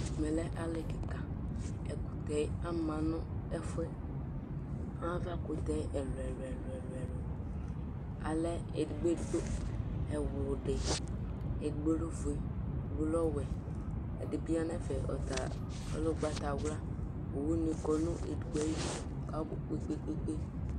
ɛmɛ lɛ ali keka ɛkutɛ ama no ɛfuɛ ava kutɛ ɛlò ɛlò ɛlò alɛ edigbo edigbo ɛwlodi edigbo lɛ ofue edigbo lɛ ɔwɛ edi bi ya n'ɛfɛ ɔta ɔlɛ ugbatawla owu ni kɔ no edigbo ayidu k'abò kpekpekpe